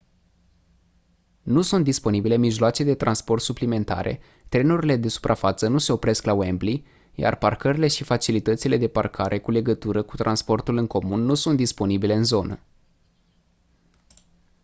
nu sunt disponibile mijloace de transport suplimentare trenurile de suprafață nu se opresc la wembley iar parcările și facilitățile de parcare cu legătură cu transportul în comun nu sunt disponibile în zonă